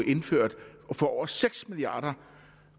indført for over seks milliard